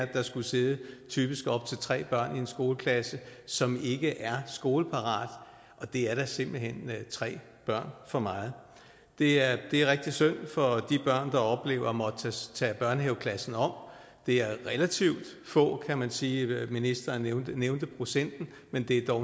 der skulle sidde typisk op til tre børn i en skoleklasse som ikke er skoleparate og det er da simpelt hen tre børn for meget det er rigtig synd for de børn der oplever at måtte tage børnehaveklassen om det er relativt få kan man sige ministeren nævnte procenten men det er dog